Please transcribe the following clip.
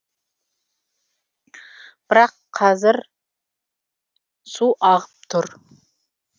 бірақ қазір су ағып тұр